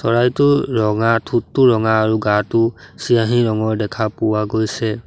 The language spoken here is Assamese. চৰাইটো ৰঙা ঠোঁটটো ৰঙা আৰু গাটো চিয়াঁহী ৰঙৰ দেখা পোৱা গৈছে।